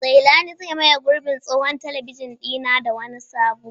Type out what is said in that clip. Zailani zai maye gurbin tsohon talabijin ɗina da wani sabo.